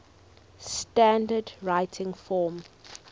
standard written form